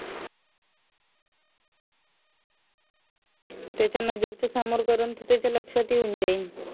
त्याच्या लक्षात येऊन जाईल